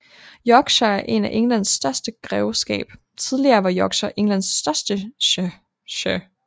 Yorkshire er Englands største grevskab Tidligere var Yorkshire Englands største shire